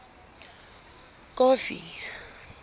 kofi